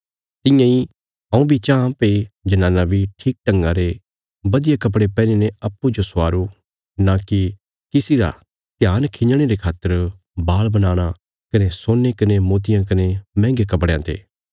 तियां इ हऊँ बी चांह भई जनानां बी ठीक ढंगा रे बधिया कपड़े पैहनीने अप्पूँजो स्वारो नां की किसी रा ध्यान खिंजणे रे खातर बाल बनाणा कने सोने कने मोतियां कने मैहंगे कपड़यां ते